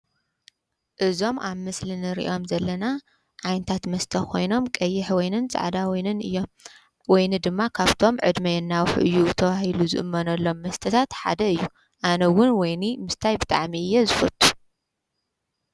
እዞም ኣብ ምስልን ርእዮም ዘለና ዓይንታት መስተኾይኖም ቀይሕ ወይንን ፃዕዳ ንን እዮ ወይኒ ድማ ኻብቶም ዕድሚየናዊፍእዩውቶውሂሉ ዝእመኖሎም መስተታት ሓደ እዩ ኣነውን ወይኒ ምስታይብ ጣዓሚ እየ ዝፈቱ።